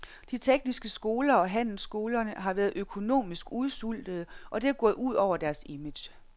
De tekniske skoler og handelsskolerne har været økonomisk udsultede, og det er gået ud over deres image.